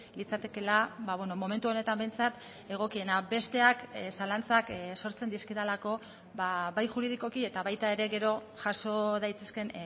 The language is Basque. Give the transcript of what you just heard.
litzatekeela momentu honetan behintzat egokiena besteak zalantzak sortzen dizkidalako bai juridikoki eta baita ere gero jaso daitezkeen